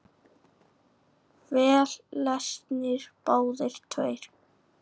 Vel lesnir, báðir tveir.